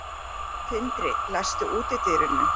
Tindri, læstu útidyrunum.